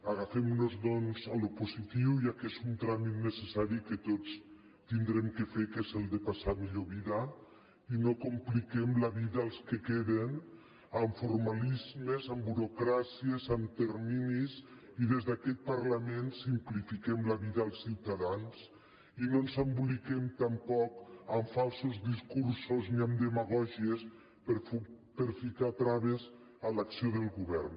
agafem nos doncs a allò positiu ja que és un tràmit necessari que tots haurem de fer que és el de passar a millor vida i no compliquem la vida als que queden amb formalismes amb burocràcies amb terminis i des d’aquest parlament simplifiquem la vida als ciutadans i no ens emboliquem tampoc amb falsos discursos ni amb demagògies per ficar traves a l’acció del govern